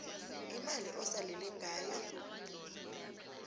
imali osalele ngayo